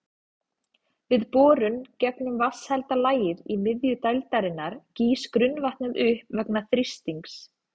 Við borun gegnum vatnshelda lagið í miðju dældarinnar gýs grunnvatnið upp vegna þrýstings.